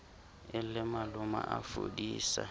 e le maloma a fodisa